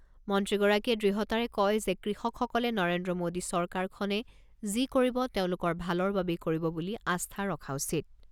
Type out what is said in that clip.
মন্ত্ৰীগৰাকীয়ে দৃঢ়তাৰে কয় যে, কৃষকসকলে নৰেন্দ্ৰ মোদী চৰকাৰখনে যি কৰিব তেওঁলোকৰ ভালৰ বাবেই কৰিব বুলি আস্থা ৰখা উচিত।